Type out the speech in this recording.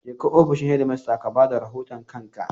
Jeka ofishin shedimasta ka ba da rahoton kanka!